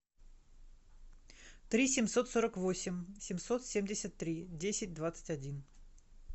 три семьсот сорок восемь семьсот семьдесят три десять двадцать один